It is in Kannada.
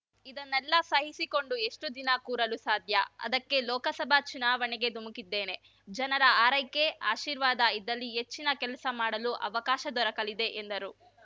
ಇದನ್ನೆಲ್ಲ ಸಹಿಸಿಕೊಂಡು ಎಷ್ಟುದಿನ ಕೂರಲು ಸಾಧ್ಯ ಅದಕ್ಕೇ ಲೋಕಸಭಾ ಚುನಾವಣೆಗೆ ಧುಮುಕಿದ್ದೇನೆ ಜನರ ಹಾರೈಕೆ ಆಶೀರ್ವಾದ ಇದ್ದಲ್ಲಿ ಹೆಚ್ಚಿನ ಕೆಲಸ ಮಾಡಲು ಅವಕಾಶ ದೊರಕಲಿದೆ ಎಂದರು